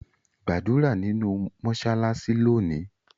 Gbadura ninu mọṣalaṣi loni.